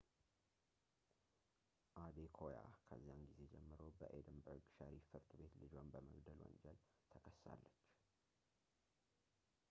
አዴኮያ ከዚያን ጊዜ ጀምሮ በኤድንበርግ ሸሪፍ ፍርድ ቤት ልጇን በመግደል ወንጀል ተከሳለች